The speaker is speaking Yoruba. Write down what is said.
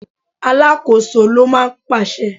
Alákòóso ló máa ń pàṣẹ.